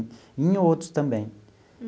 E em outros também.